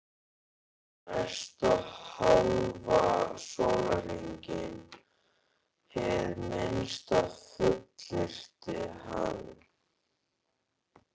Næsta hálfa sólarhringinn, hið minnsta, fullyrti hann.